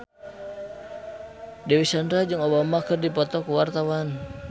Dewi Sandra jeung Obama keur dipoto ku wartawan